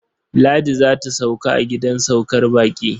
Ladi za ta sauka a gidan saukar baƙi.